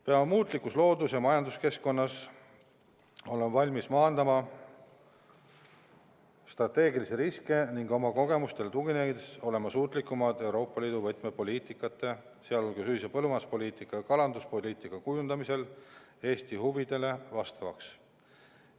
Peame muutlikus loodus- ja majanduskeskkonnas olema valmis maandama strateegilisi riske ning oma kogemustele tuginedes olema suutlikumad Euroopa Liidu võtmepoliitikate, sh ühise põllumajanduspoliitika ja kalanduspoliitika kujundamisel Eesti huvidele vastavaks.